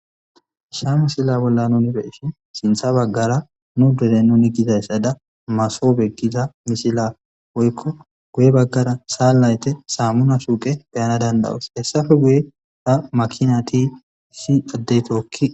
ha misila bolla nuni be7ishin sintha baggara nu deren nuni gizayssada masobe giza misila woykko guye baggara sanlayte saammuna suuqe beyana danda7os hessafe guye ta makinati issi addey tookki